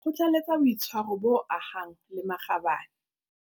Kgothaletsa boitshwaro bo ahang le makgabane.